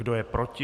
Kdo je proti?